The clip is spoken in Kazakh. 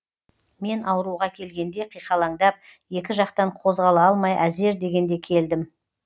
мен ауруға келгенде қиқалаңдап екі жақтан қозғала алмай әзер дегенде келдім